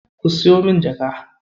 Ku siyo min jaka.